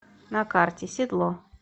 на карте седло